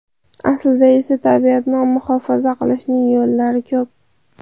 Aslida esa tabiatni muhofaza qilishning yo‘llari ko‘p.